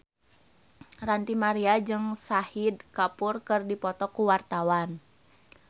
Ranty Maria jeung Shahid Kapoor keur dipoto ku wartawan